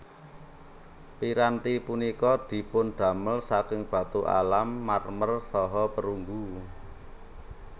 Piranti punika dipundamel saking batu alam marmer saha perunggu